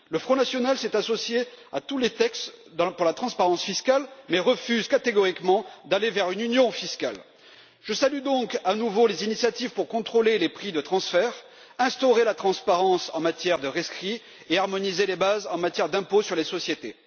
Le Front national s'est associé à tous les textes en faveur de la transparence fiscale mais refuse catégoriquement d'aller vers une union fiscale. Je salue donc à nouveau les initiatives visant à contrôler les prix de transfert, à instaurer la transparence en matière de rescrits et à harmoniser les bases en matière d'impôt sur les sociétés.